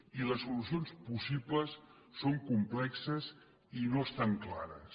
i les solucions possibles són complexes i no estan clares